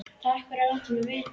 Takk fyrir að láta mig vita